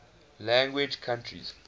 language countries